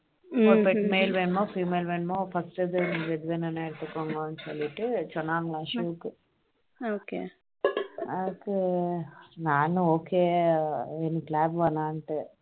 pet male மேல் வேண்டுமா female வேணும் எடுத்துக்கோங்க அப்படின்னு சொல்லிட்டு சொன்னாங்க ashok அது நானும் okay எனக்கு dog வேண்டாம் அப்படின்னு